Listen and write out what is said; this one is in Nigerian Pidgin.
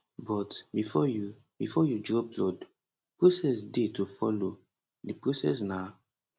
but bifor you bifor you draw blood process dey to follow di process na